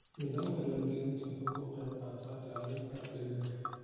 Nidaamka diiwaangelinta wuxuu ka qaybqaataa ilaalinta deegaanka.